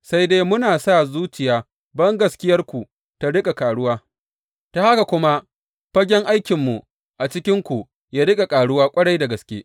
Sai dai muna sa zuciya bangaskiyarku ta riƙa ƙaruwa, ta haka kuma fagen aikinmu a cikinku yă riƙa ƙaruwa ƙwarai da gaske.